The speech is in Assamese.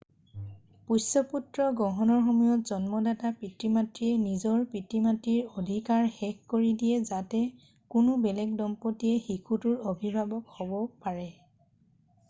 পোষ্যপুত্ৰ গ্ৰহণৰ সময়ত জন্মদাতা পিতৃ-মাতৃয়ে নিজৰ পিতৃ মাতৃৰ অধিকাৰ শেষ কৰি দিয়ে যাতে কোনো বেলেগ দম্পতীয়ে শিশুটোৰ অভিভাৱক হ'ব পাৰে